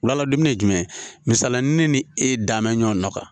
Wala dumunun ye jumɛn ye misali ne ni e dan bɛ ɲɔgɔn nɔ kan